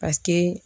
Paseke